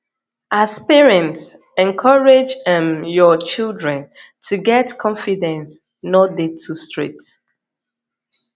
as parent encourage um your children to get confidence no dey too strict